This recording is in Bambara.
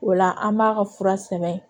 O la an b'a ka fura sɛbɛn